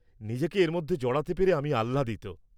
-নিজেকে এর মধ্যে জড়াতে পেরে আমি আহ্লাদিত।